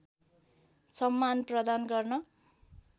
सम्मान प्रदान गर्न